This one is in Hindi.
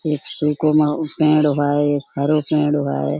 एक बावे।